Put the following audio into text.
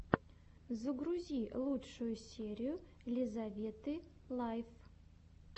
загрузи лучшую серию лизаветы лайф